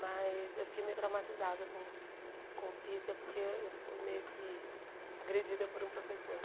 Mas eu fiquei meio traumatizada com com física porque eu fui meio que agredida por um professor.